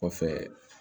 Kɔfɛ